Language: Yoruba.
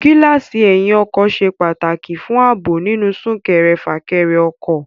Gíláàsì ẹyìn ọkọ̀ ṣe pàtàkì fún ààbò nínú súnkẹrẹ- fàkẹrẹ ọkọ̀